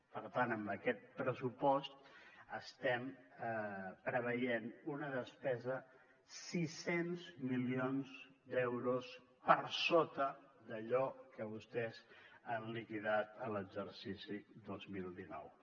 per tant amb aquest pressupost estem preveient una despesa sis cents milions d’euros per sota d’allò que vostès han liquidat a l’exercici dos mil dinou